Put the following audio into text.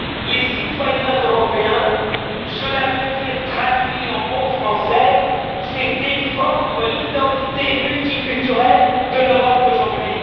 les citoyens européens, cela veut dire traduit en bon français défendre l'identité multiculturelle de l'Europe d'aujourd'hui.